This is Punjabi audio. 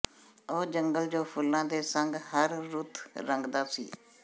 ਉਹ ਜੰਗਲ ਜੋ ਫੁੱਲਾਂ ਦੇ ਸੰਗ ਹਰ ਰੁੱਤ ਰੰਗਦਾ ਸੀ